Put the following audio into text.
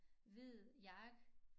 Hvid jakke